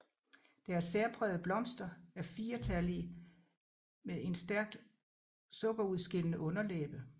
Deres særprægede blomster er firetallige med en stærkt sukkerudskillende underlæbe